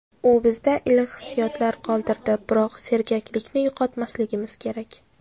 U bizda iliq hissiyotlar qoldirdi, biroq sergaklikni yo‘qotmasligimiz kerak.